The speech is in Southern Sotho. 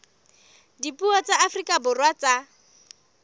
dipuo tsa afrika borwa tsa